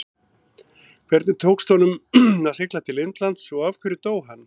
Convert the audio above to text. Hvernig tókst honum að sigla til Indlands og af hverju dó hann?